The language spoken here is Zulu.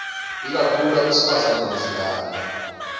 ikakhulu abesifazane nezingane